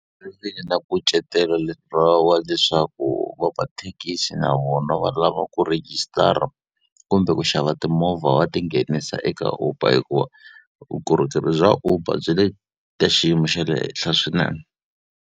nkucetelo wa leswaku vamathekisi na vona va lava ku rejistara kumbe ku xava timovha va tinghenisa eka Uber hikuva, vukorhokeri bya Uber byi le ka xiyimo xa le henhla swinene.